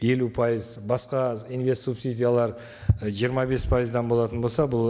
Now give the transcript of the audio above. елу пайыз басқа инвест субсидиялар жиырма бес пайыздан болатын болса бұл